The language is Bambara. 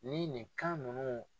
Ni nin kan ninnu